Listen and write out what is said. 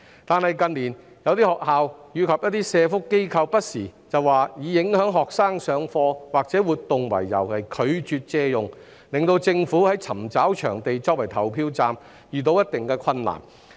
可是，近年有些學校及社福機構不時以影響學生上課或活動為由而拒絕借用，令政府在尋找場地作為投票站時遇到一定困難。